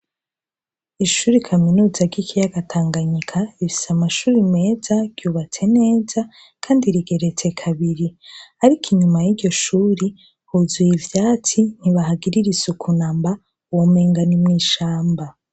Ishure kaminuza ry'ikiyaga Tanganyika rifise amashure meza, ryubatse neza kandi rigeretse kabiri. Ariko inyuma y'iryo shuri huzuye ivyatsi, ntibahagirira isuku namba, womenga ni mw'ishamba.